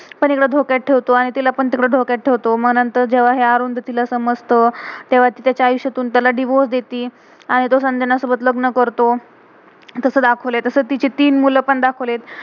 एकड़ धोक्यात ठेवतो, आणि तिला पण तिकड़ धोक्यात ठेवतो. मग नंतर हे जेव्हा आरुनधती समजत, तेव्हा ती तेच्या आयुष्यातून, तेव्हा तिला चालिसितुन त्याला डाइवोर्स divorce देती. आणि तो संजना सोबत लग्न करतो.